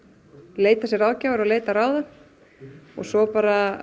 leita sér ráðgjafar og leita ráða og svo bara